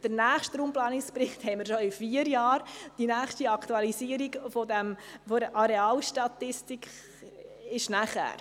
Der nächste Raumplanungsbericht steht jedoch bereits in vier Jahren an, und die nächste Aktualisierung dieser Arealstatistik findet später statt.